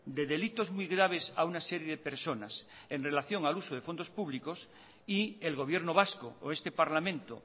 de delitos muy graves a una serie de personas en relación al uso de fondos públicos y el gobierno vasco o este parlamento